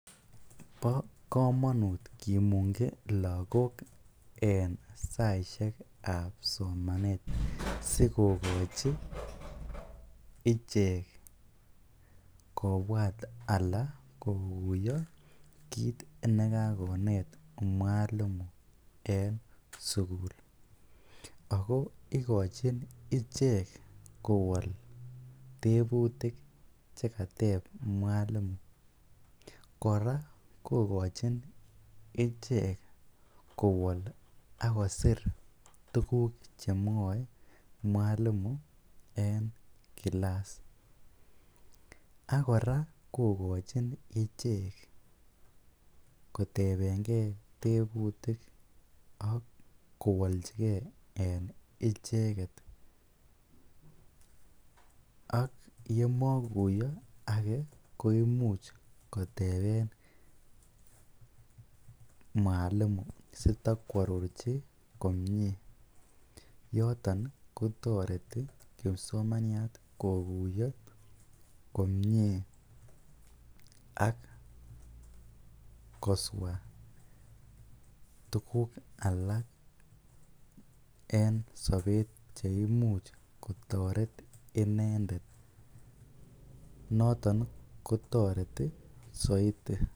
Bo komonut kimungyi lokok en saishekab somanet sikokochi ichek kobwat alaa kokuiyo kiit nekakonet mwalimu en sukul ak ko ikochin ichek kowol tebutik chekateb mwalimu, kora kokochin ichek kowol ak kosir tukuk chemwoe mwalimu en kilas, ak kora kokochin ichek kotebenge tebutik ak kowolchike en icheket, ak yemokuiyo akee koimuch koteben mwalimu sitakwarorchi komnye, yoton kotoreti kipsomaniat kokuiyo komnye ak koswa tukuk alak en sobet cheimuch kotoret inendet noton kotoreti soiti.